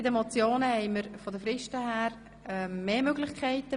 Bei den Motionen haben wir aufgrund der Fristen mehr Möglichkeiten.